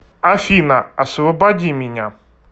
афина освободи меня